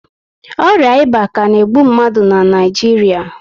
Ọrịa ịba ka na egbu mmadụ na Naijiria